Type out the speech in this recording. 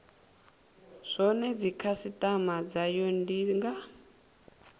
zwone dzikhasitama dzayo ndi nga